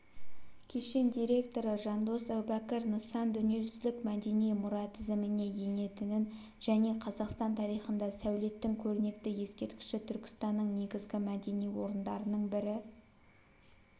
кешен директоры жандос әубәкір нысан дүниежүзілік мәдени мұра тізіміне енетінін және қазақстан тарихында сәулеттің көрнекті ескерткіші түркістанның негізгі мәдени орындарының бірі